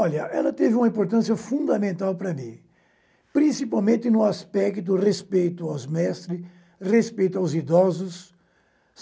Olha, ela teve uma importância fundamental para mim, principalmente no aspecto do respeito aos mestres, respeito aos idosos.